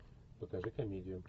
покажи комедию